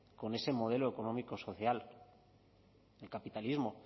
con ese modelo económico social del capitalismo